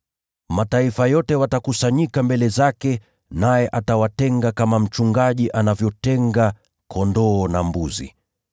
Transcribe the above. Mataifa yote watakusanyika mbele zake, naye atawatenga kama mchungaji anavyotenga kondoo na mbuzi.